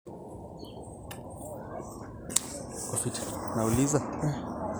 meekure etii ina toki duo niyieu olduka lang, kake ketii nkulie naanyanyukie